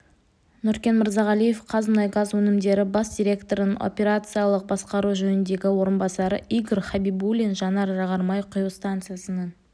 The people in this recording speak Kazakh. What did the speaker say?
нүркен мырзағалиев қазмұнайгаз өнімдері бас директорының операциялық басқару жөніндегі орынбасары игорь хабибуллин жанар-жағар май құю станциясының